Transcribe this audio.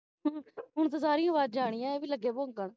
ਹੁਣ ਤੇ ਸਾਰੀ ਆਵਾਜ਼ਾਂ ਆਈਆਂ ਹੋਣ ਤੇ ਲਗੇ ਇਹ ਵੀ ਪੰਖਣ